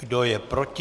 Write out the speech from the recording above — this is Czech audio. Kdo je proti?